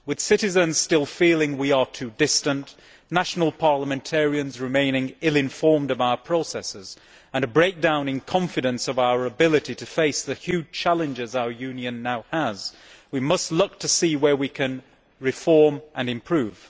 With citizens still feeling we are too distant, national parliamentarians remaining ill informed of our processes, and a breakdown in confidence in our ability to face the huge challenges our Union now has, we must look to see where we can reform and improve.